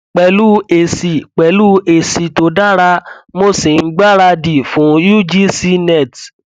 pẹlú èsì pẹlú èsì tó dára mo sì ń gbára dì fún cs] ugc net